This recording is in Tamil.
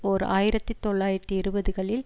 ஓர் ஆயிரத்தி தொள்ளாயிரத்தி இருபதுகளில்